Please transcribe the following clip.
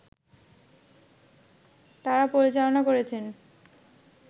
তারা পরিচালনা করেছেন